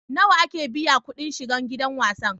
Nawa ake biya kuɗin shiga gidan wasan?